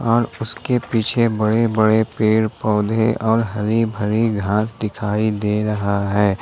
और उसके पीछे बड़े बड़े पेड़ पौधे और हरी भरी घास दिखाई दे रहा है ।